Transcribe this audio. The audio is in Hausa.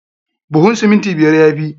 Buhun siminti biyar ya fi.